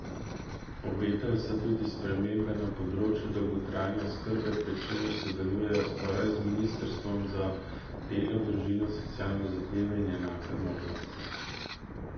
Obetajo se tudi spremembe na področju dolgotrajne oskrbe, pri čemer sodelujejo skupaj z ministrstvom za delo, družino, socialne zavede in enake možnosti.